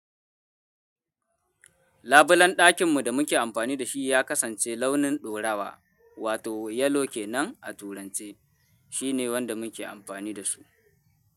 Labulen ɗakin mu da muke amfani da shi ya kasance launin ɗorawa, wato yellow kenan a turance. Shine wanda muke amfani da su.